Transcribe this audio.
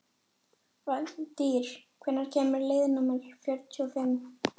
Valtýr, hvenær kemur leið númer tuttugu og fimm?